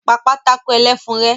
Pa pátákó ẹlẹ́fun rẹ́!